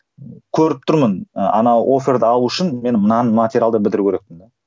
көріп тұрмын ыыы ана оферді алу үшін мен мынаны материалды бітіру керекпін